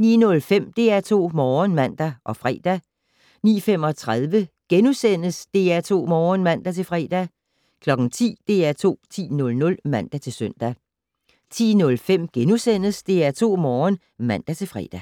09:05: DR2 Morgen (man og fre) 09:35: DR2 Morgen *(man-fre) 10:00: DR2 10:00 (man-søn) 10:05: DR2 Morgen *(man-fre)